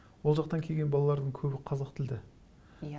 ол жақтан келген балалардың көбі қазақ тілді иә